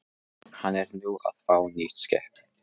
Hann er nú að fá nýtt skip.